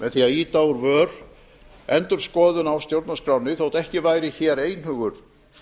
með því að ýta úr vör endurskoðun á stjórnarskránni þótt ekki væri hér einhugur